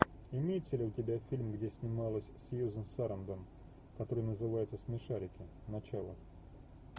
имеется ли у тебя фильм где снималась сьюзен сарандон который называется смешарики начало